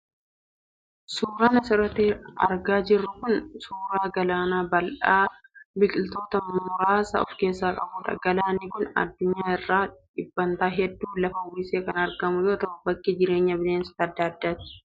Suuraan asirratti argaa jirru kun suuraa galaana bal'aa biqiltoota muraasa of keessaa qabudha. Galaanni kun addunyaa irraa dhibbantaa hedduu lafa uwwisee kan argamu yoo ta'u, bakka jireenya bineensota adda addaati.